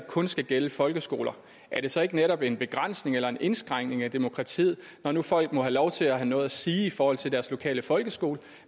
kun skal gælde folkeskoler er det så ikke netop en begrænsning eller en indskrænkning af demokratiet når nu folk må have lov til at have noget at sige i forhold til deres lokale folkeskole